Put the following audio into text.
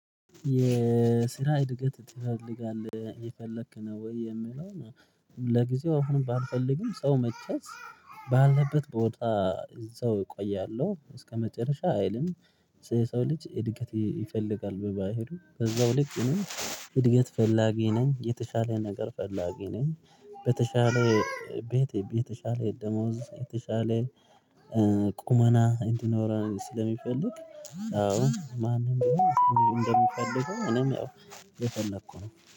የስራ እድገት ትፈልጋለህ የፈለክ ነው ወይ የምለው ነው? ለጊዜው አሁን ባልፈልግም ሰው መቼስ ባለበት ቦታ እዚያ እቆያለሁ እስከመጨረሻ አይልም። ሰው ልጅ እድገት ይፈልጋል በባህሪው በዛው ልጅ ነኝ እድገት ፈላጊ ነኝ የተሻለ ነገር ፈላጊ ነኝ። በተሻለ ቤት የተሻለ ደሞዝ የተሻለ ቁመና እንድንኖር ስለሚፈልግ። አዎ ማንም እንደምፈልገው ነው እኔም የፈለኩ ነው